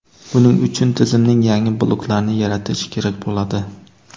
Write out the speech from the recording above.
Buning uchun tizimning yangi bloklarini yaratish kerak bo‘ladi.